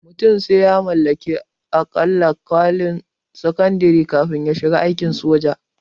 Mutum sai ya mallaki aƙalla kwalin sakandare kafin ya shiga aikin soja